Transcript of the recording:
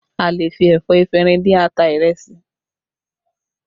A lè fi ẹ̀fọ́ efinrin dín ata ìrẹsì